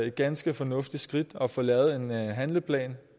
et ganske fornuftigt skridt at få lavet en handleplan